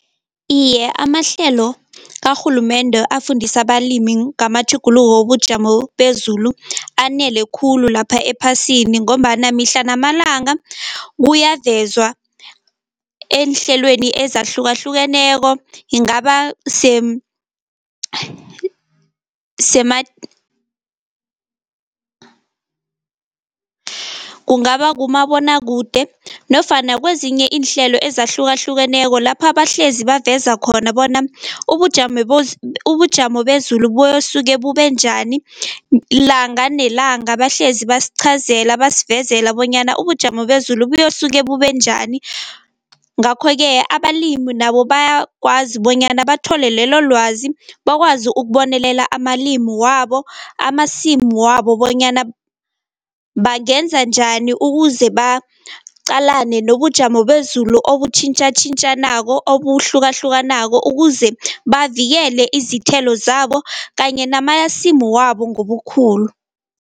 Iye amahlelo karhulumende afundisa abalimi ngamatjhuguluko wobujamo bezulu anele khulu lapha ephasini, ngombana mihla namalanga kuyavezwa eenhlelweni ezahlukahlukeneko yingaba kungaba kumabonwakude nofana kwezinye iinhlelo ezahlukahlukeneko, lapha bahlezi baveza khona bona ubujamo ubujamo bezulu buyosuke bube njani. Langa nelanga bahlezi basichazela basivezela bonyana ubujamo bezulu buyosuke bube njani. Ngakho-ke abalimi nabo bayakwazi bonyana bathole lelo lwazi bakwazi ukubonelela amalimu wabo, amasimu wabo bonyana bangenza njani ukuze baqalane nobujamo bezulu obutjhintjatjhintjanako, obuhlukahlukanako ukuze bavikele izithelo zabo kanye namasimu wabo ngobukhulu.